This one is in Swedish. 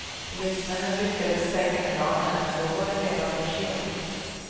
Polismännen lyckades stänga kranen, men då var det redan för sent.